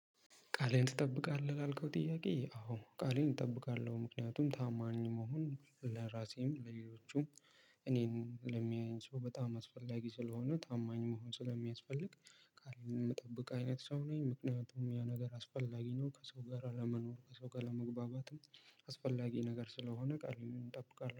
ቃሌን ትጠብቃለህ? ላልከው ጥያቄ አዎ ቃሌን እጠብቃለሁ ምክንያቱም ታማኝ መሆን ለራሴም እኔን ለሚያየኝ ሰው በጣም አስፈላጊ ስለሆነ ታማኝ መሆን ስለሚያስፈልግ ቃሌን የምጠብቅ አይነት ሰው ነኝ ምክንያቱም ያ ነገር አስፈላጊ ነው ከሰው ጋር ለመኖር ከሰው ጋር ለመግባባትም ነገር ስለሆነ ቃሌን እጠብቃለሁ